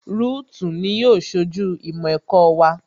Rúùtù ni yóò ṣojú ìmọ̀ ẹ̀kọ́ wa